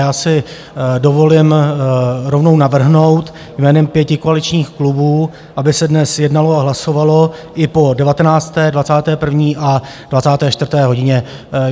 Já si dovolím rovnou navrhnout jménem pěti koaličních klubů, aby se dnes jednalo a hlasovalo i po 19., 21. a 24. hodině.